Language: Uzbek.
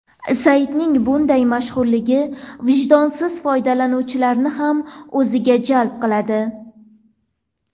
Saytning bunday mashhurligi vijdonsiz foydalanuvchilarni ham o‘ziga jalb qiladi.